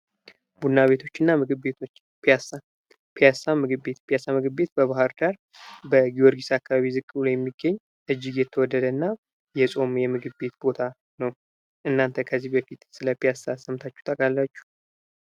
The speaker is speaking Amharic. ቡና ቤቶችና ምግብ ቤቶች ፒያሳ። ፒያሳ ምግብ ቤት። ፒያሳ ምግብ ቤት በባህር ዳር በጊዮርጊስ አካባቢ ዝቅ ብሎ የሚገኝ እጅግ የተወደደ እና የጾም የምግብ ቤት ቦታ ነው። እናንተ ከዚህ በፊት ስለ ፒያሳ ሰምታችሁ ታውቃላችሁ?